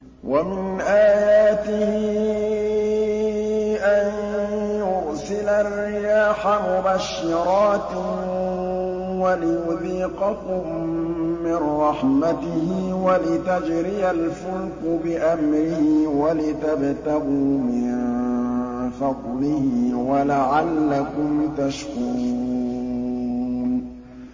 وَمِنْ آيَاتِهِ أَن يُرْسِلَ الرِّيَاحَ مُبَشِّرَاتٍ وَلِيُذِيقَكُم مِّن رَّحْمَتِهِ وَلِتَجْرِيَ الْفُلْكُ بِأَمْرِهِ وَلِتَبْتَغُوا مِن فَضْلِهِ وَلَعَلَّكُمْ تَشْكُرُونَ